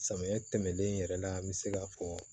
Samiya tɛmɛnen yɛrɛ la n bɛ se ka fɔ